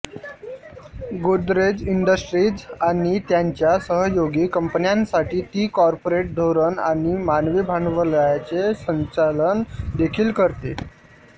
Godrej Industries आणि त्यांच्या सहयोगी कंपन्यांसाठी ती कॉर्पोरेट धोरण आणि मानवी भांडवलाचे संचालन देखील करते